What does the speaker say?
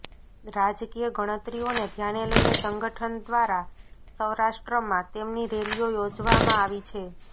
રાજકીય ગણતરીઓને ધ્યાને લઈને સંગઠન દ્વારા સૌરાષ્ટ્રમાં તેમની રેલીઓ યોજવામાં આવી છે